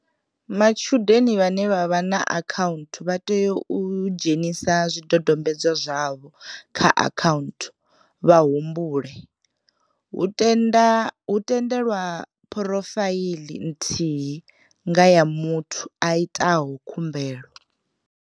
Matshudeni vhane vho vha na akhaunthu vha tea u dzhenisa zwidodombedzwa zwavho kha akhaunthu vha humbule, hu tende lwa phurofaiḽi nthihi nga ya muthu a itaho khumbelo.